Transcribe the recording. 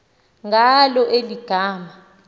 ngalo eli gama